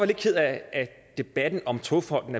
lidt ked af at debatten om togfonden